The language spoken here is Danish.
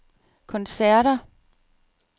koncerter